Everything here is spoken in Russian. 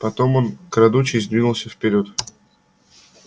потом он крадучись двинулся вперёд